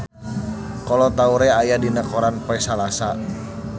Kolo Taure aya dina koran poe Salasa